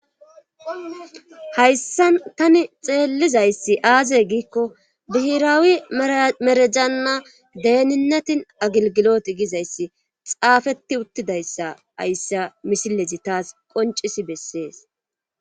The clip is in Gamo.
hayssan tani xeellizayssi aaze giikko bihiraawi merejanna deeninatin agilgilot gizayssi xaafeti uttidayssa hayssa misileji taas qoncis bessees